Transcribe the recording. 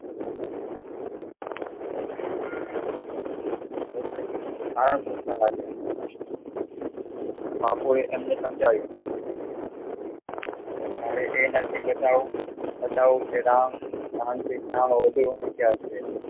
આ જોતા લાગ્યા બાપુએ એમને સમજાવ્યા મારે એ નથી ગટવું બતાવું કે રામ વધુ વખત ચાલશે